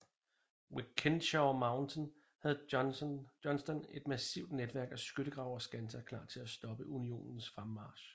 Ved Kennesaw Mountain havde Johnston et massivt netværk af skyttegrave og skanser klar til at stoppe Unionens fremmarch